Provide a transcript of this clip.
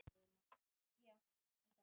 Sáttafundur og verkfallsaðgerðir